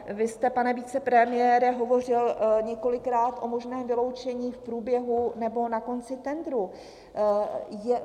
Vy jste, pane vicepremiére, hovořil několikrát o možném vyloučení v průběhu nebo na konci tendru.